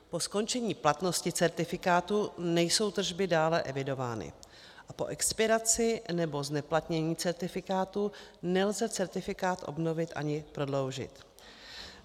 Po skončení platnosti certifikátu nejsou tržby dále evidovány a po expiraci nebo zneplatnění certifikátu nelze certifikát obnovit ani prodloužit.